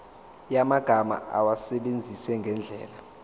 yamagama awasebenzise ngendlela